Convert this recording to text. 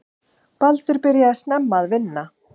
Baldur byrjaði snemma að vinna.